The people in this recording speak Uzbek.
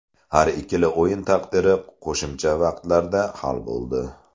Har ikkala o‘yin taqdiri qo‘shimcha vaqtlarda hal bo‘ldi.